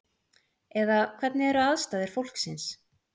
Eða hvernig eru aðstæður fólksins?